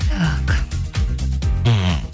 так мхм